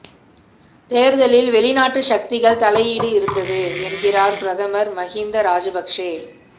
தேர்தலில் வெளிநாட்டு சக்திகள் தலையீடு இருந்தது என்கிறார் பிரதமர் மஹிந்த ராஜபக்ஷ